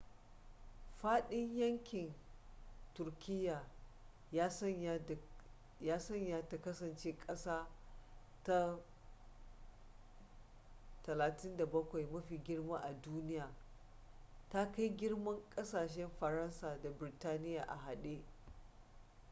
faɗin yankin turkiyya ya sanya ta kasance ƙasa ta 37 mafi girma a duniya ta kai girman ƙasashen faransa da birtaniya a hade